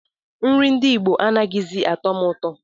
Nri ndị Igbo anaghịzi atọ m ụtọ